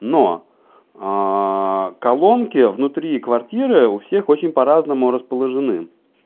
но аа колонки внутри квартиры у всех очень по-разному расположены